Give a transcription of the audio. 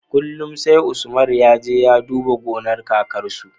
Kullun sai usman yaje ya duba gonar kakan su